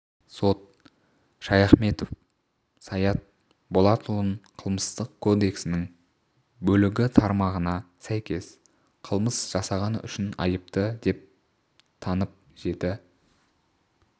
сот шаяхметов саят болатұлын қылмыстық кодексінің бөлігі тармағына сәйкес қылмыс жасағаны үшін айыпты деп танып жеті